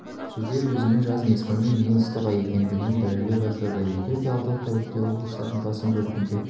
шілде өзінің жаз мезгілінің ең ыстық айы екендігін дәлелдей бастады егерде алдағы тәулікте облыстардың басым бөлігінде